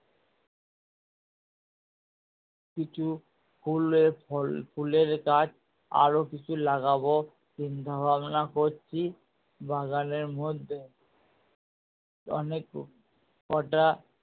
কিছু ফুলে ফুলের গাছ আরো কিছু লাগাবো চিন্তা ভাবনা করছি বাগানের মধ্যে অনেক কটা